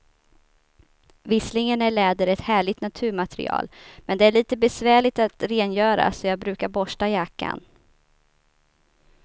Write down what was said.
Visserligen är läder ett härligt naturmaterial, men det är lite besvärligt att rengöra, så jag brukar borsta jackan.